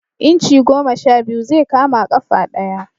Inci goma sha biyu zai kama ƙafa ɗaya